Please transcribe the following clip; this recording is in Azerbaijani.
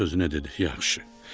Öz-özünə dedi: yaxşı.